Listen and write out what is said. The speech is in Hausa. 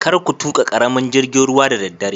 Karka tuka karamin jingin ruwa da daddare.